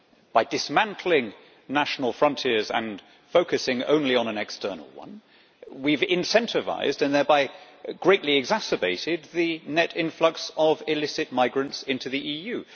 By dismantling national frontiers and focusing only on an external one, we have incentivised and thereby greatly exacerbated the net influx of illicit migrants into the EU.